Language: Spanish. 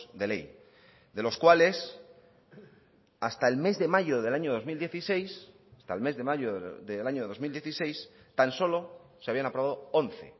de ley de los cuales hasta el mes de mayo del año dos mil dieciséis hasta el mes de mayo del año dos mil dieciséis tan solo se habían aprobado once